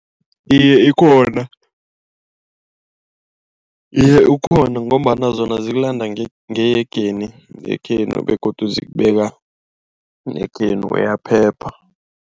Iye ikhona ngombana zona zikulanda eyegeni yekhenu begodu zikubeka ekhenu uyaphepha.